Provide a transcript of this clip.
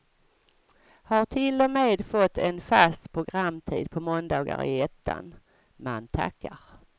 Har till och med fått en fast programtid på måndagar i ettan, man tackar.